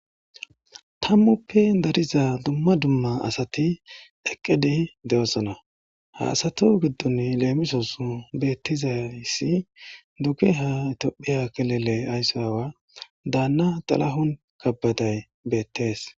Tammuppe dariza dumma dumma asati eqqedi de'osana ha asato giddon leemisos beettizayssi dugeha Tiophiya kilile aysso aawa daanna Xalahon Kebedey beettees